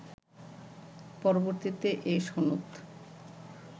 পরবর্তীতে এ সনদ